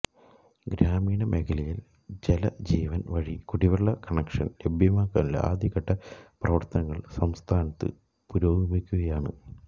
ഗ്രാമീണ മേഖലയില് ജലജീവന് വഴി കുടിവെള്ള കണക്ഷന് ലഭ്യമാക്കാനുള്ള ആദ്യഘട്ട പ്രവര്ത്തനങ്ങള് സംസ്ഥാനത്ത് പുരോഗമിക്കുകയാണ്